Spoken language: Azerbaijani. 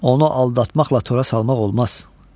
Onu aldatmaqla tora salmaq olmaz.